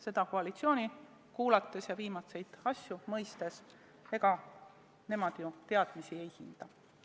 Seda koalitsiooni kuulates ja viimaseid arenguid nähes me oleme mõistnud, et ega nemad ju teadmisi ei hinda.